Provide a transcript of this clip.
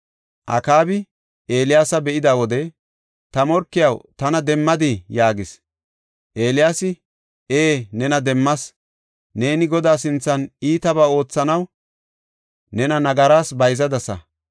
Akaabi Eeliyaasa be7ida wode, “Ta morkiyaw, tana demmadii?” yaagis. Eeliyaasi, “Ee, nena demmas. Neeni Godaa sinthan iitabaa oothanaw nena nagaras bayzadasa.